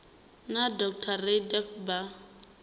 na dr rayda becker vha